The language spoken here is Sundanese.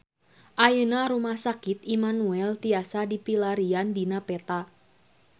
Ayeuna Rumah Sakit Immanuel tiasa dipilarian dina peta